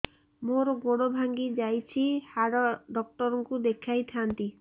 ମୋର ଗୋଡ ଭାଙ୍ଗି ଯାଇଛି ହାଡ ଡକ୍ଟର ଙ୍କୁ ଦେଖେଇ ଥାନ୍ତି